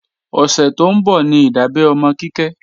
Ọ̀sẹ̀ tó ń bọ̀ ní ìdábẹ́ ọmọ Kíkẹ́